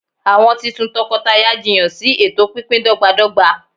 awọn titun tọkọtaya jiyan si eto pínpín dọgbadọgba